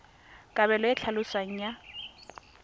kabelo e e tlhaloswang ya